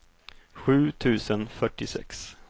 sju tusen fyrtiosex